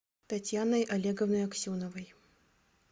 татьяной олеговной аксеновой